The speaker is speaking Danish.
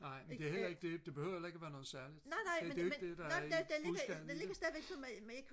nej det er heller ikke det det behøver heller ikke og være noget særligt det er jo ikke det der er budskabet i det